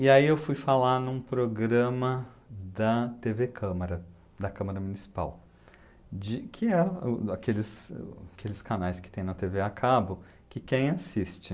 E aí eu fui falar num programa da tê vê Câmara, da Câmara Municipal, de, que é aqueles aqueles canais que tem na tê vê a cabo, que quem assiste?